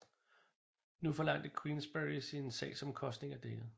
Nu forlangte Queensberry sine sagsomkostninger dækket